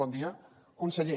bon dia conseller